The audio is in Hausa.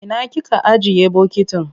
Ina kika ajiye bokitin?